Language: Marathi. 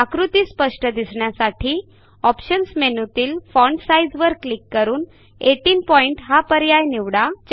आकृती स्पष्ट दिसण्यासाठी ऑप्शन्स मेनूतील फॉन्ट साइझ वर क्लिक करून 18 पॉइंट हा पर्याय निवडा